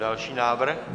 Další návrh.